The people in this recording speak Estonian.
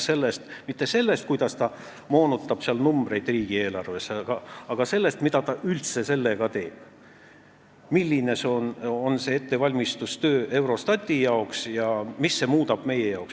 Me ei räägi sellest, kuidas ta moonutab numbreid riigieelarves, vaid sellest, mida ta sellega üldse teeb, milline on ettevalmistustöö Eurostati jaoks ja mida see meie jaoks muudab.